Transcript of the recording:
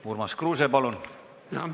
Urmas Kruuse, palun!